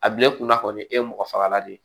A bila e kunna kɔni e ye mɔgɔ fagalan de